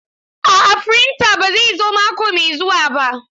A'a firinta ba zai zo mako mai zuwa ba.